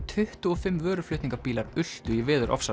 tuttugu og fimm vöruflutningabílar ultu í